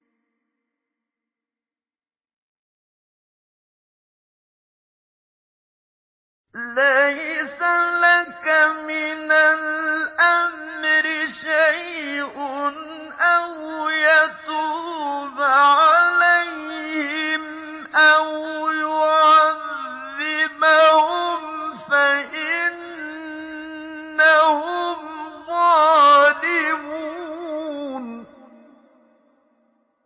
لَيْسَ لَكَ مِنَ الْأَمْرِ شَيْءٌ أَوْ يَتُوبَ عَلَيْهِمْ أَوْ يُعَذِّبَهُمْ فَإِنَّهُمْ ظَالِمُونَ